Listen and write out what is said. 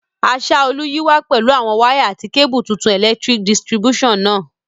Asaolu yi wa pẹ̀lu àwon wire àti cable tuntun electric distribution náà